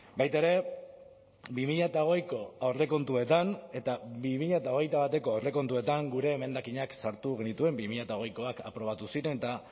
baita ere bi mila hogeiko aurrekontuetan eta bi mila hogeita bateko aurrekontuetan gure emendakinak sartu genituen bi mila hogeikoak aprobatu ziren eta